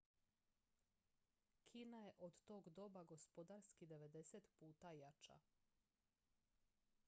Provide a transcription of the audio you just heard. kina je od tog doba gospodarski 90 puta jača